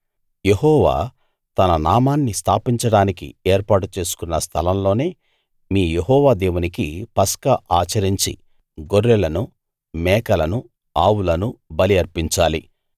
యెహోవా తన నామాన్ని స్థాపించడానికి ఏర్పాటు చేసుకున్న స్థలంలోనే మీ యెహోవా దేవునికి పస్కా ఆచరించి గొర్రెలను మేకలను ఆవులను బలి అర్పించాలి